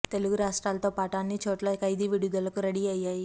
తెలుగు రాష్ట్రాల తో పాటు అన్ని చోట్ల ఖైదీ విడుదల కు రెడీ అయ్యాయి